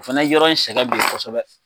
O fana yɔrɔ in sɛgɛn bi kosɛbɛ.